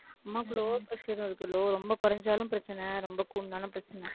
அம்மாக்கு low pressure உம் இருக்கு low ரொம்ப குறைஞ்சாலும் பிரச்சனை ரொம்ப கூடுனாலும் பிரச்சனை